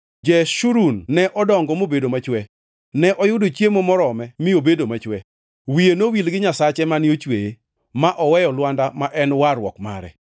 Jeshurun ne odongo mobedo machwe; ne oyudo chiemo morome mi obedo machwe. Wiye nowil gi Nyasache mane ochweye, ma oweyo lwanda ma en warruok mare.